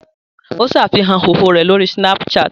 Ó ṣàfihàn ìhòòhò rẹ̀ lórí Snapchat